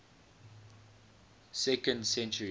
second century